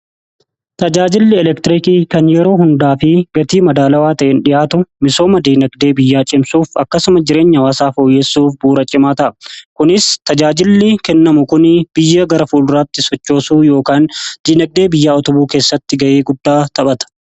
Tajaajilli elektiriikii kan yeroo hundaa fi gatii madaalawaa ta'een dhi'aatu misooma dinagdee biyyaa cimsuuf akkasuma jireenya hawaasaa fooyyessuuf bu'uura cimaa ta'a. Kunis tajaajilli kennamu kunii biyya gara fuuduraatti sochoosuu yookaan diinagdee biyyaa utubuu keessatti ga'ee guddaa taphata.